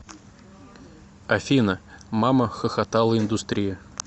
афина мамахохотала индустрия